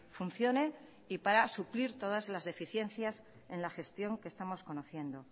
funcione y para suplir todas las deficiencias en la gestión que estamos conociendo